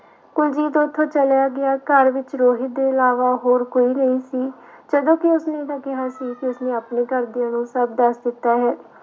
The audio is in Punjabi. ਕੁਲਜੀਤ ਉੱਥੋਂ ਚੱਲਿਆ ਗਿਆ ਘਰ ਵਿੱਚ ਰੋਹਿਤ ਦੇ ਇਲਾਵਾ ਹੋਰ ਕੋਈ ਨਹੀਂ ਸੀ ਜਦੋਂ ਕਿ ਉਸਨੇ ਤਾਂ ਕਿਹਾ ਸੀ ਕਿ ਉਸਨੇ ਆਪਣੇ ਘਰਦਿਆਂ ਨੂੰ ਸਭ ਦੱਸ ਦਿੱਤਾ ਹੈ।